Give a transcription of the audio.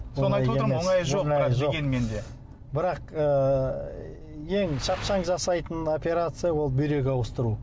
соны айтып отырмын ғой оңайы жоқ бірақ дегенмен де бірақ ыыы ең шапшаң жасайтын операция ол бүйрек ауыстыру